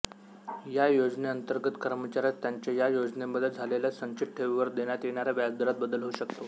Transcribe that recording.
या योजनेअंतर्गत कर्मचाऱ्यास त्याचे या योजनेमध्ये झालेल्या संचित ठेवीवर देण्यात येणाऱ्या व्याजदरात बदल होऊ शकतो